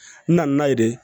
N na na n'a ye de